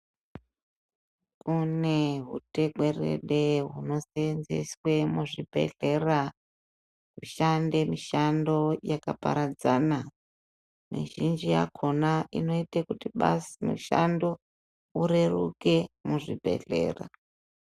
Kune hutekwerede hunoseenzeswe muzvibhedhlera kushande mishando yakaparadzana, mizhinji yakhona inoite kuti mushando ureruke muzvibhedhlera.